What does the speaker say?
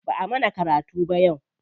Ba'a mana karatu ba yau.